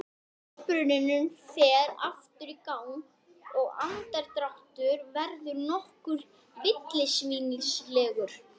Þetta er hið sjálfstæða hlutverk hjúkrunarfræðingsins.